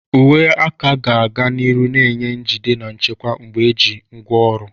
Uwe aka ga-aga n'ihu na-enye njide na nchekwa mgbe eji ngwaọrụ.